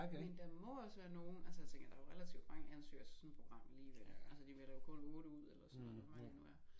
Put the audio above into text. Men der må også være nogen altså jeg tænker der jo relativt mange ansøgere til sådan et program alligevel altså de vælger jo kun 8 ud eller sådan noget hvor mange de nu er